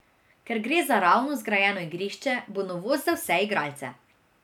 Ker gre za ravno zgrajeno igrišče, bo novost za vse igralce.